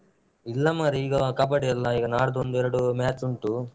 ಇಲ್ಲಾ ಮಾರೆ ಈಗ ಕಬ್ಬಡಿಯೆಲ್ಲಾ ಈಗ ನಾಡ್ದೊಂದು ಎರಡು match ಉಂಟು.